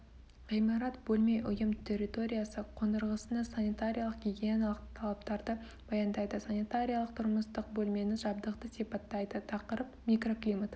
ғимарат бөлме ұйым территориясы қондырғысына санитариялық гигиеналық талаптарды баяндайды санитариялық тұрмыстық бөлмені жабдықты сипаттайды тақырып микроклимат